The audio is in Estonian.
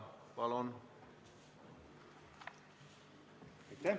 Palun!